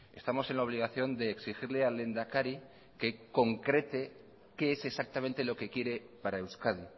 estamos en la obligación de exigirle al lehendakari que concrete qué es exactamente lo que quiere para euskadi